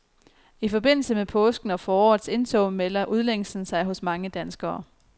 I forbindelse med påsken og forårets indtog melder udlængslen sig hos mange danskere.